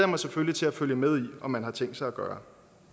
mig selvfølgelig til at følge med i og man har tænkt sig at gøre